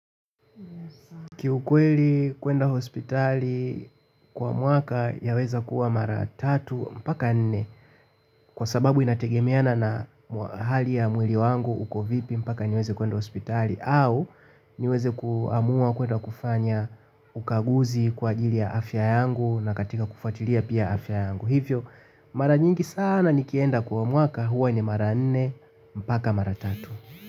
Kiukweli kuenda hospitali kwa mwaka yaweza kuwa mara tatu mpaka nne kwa sababu inategemeana na hali ya mwili wangu uko vipi mpaka niweze kwenda hospitali au niweze kuamua kwenda kufanya ukaguzi kwa ajili ya afya yangu na katika kufuatilia pia afya yangu. Hivyo mara nyingi sana nikienda kwa mwaka huwa ni mara nne mpaka mara tatu.